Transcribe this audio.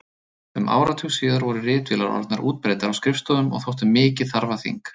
Um áratug síðar voru ritvélar orðnar útbreiddar á skrifstofum og þóttu mikið þarfaþing.